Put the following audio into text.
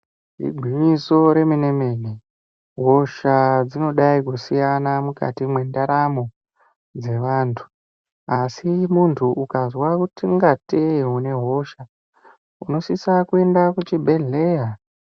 Igwinyiso remenemene hosha dzinodai kusiyana mukati mendaramo dzevantu asi muntu ukazwa kungatei une hosha unosisa kuenda kuchibhehleya .